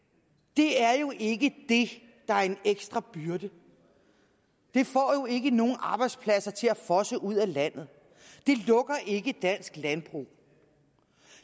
det er jo ikke det der er en ekstra byrde det får jo ikke nogen arbejdspladser til at fosse ud af landet det lukker ikke dansk landbrug